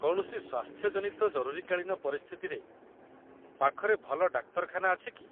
କୌଣସି ସ୍ୱାସ୍ଥ୍ୟ ଜନିତ ଜରୁରୀକାଳୀନ ପରିସ୍ଥିତିରେ, ପାଖରେ ଭଲ ଡାକ୍ତରଖାନା ଅଛି କି?